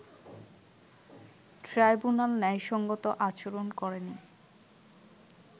tribunal ন্যায়সংগত আচরণ করেনি